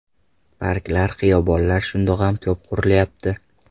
Parklar, xiyobonlar shundoq ham ko‘p qurilyapti.